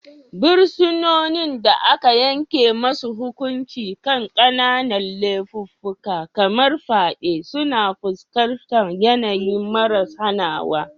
Fursunonin da aka yanke musu hukunci kan kananan laifuffuka kamar fyade suna fuskantar yanayi maras hanawa.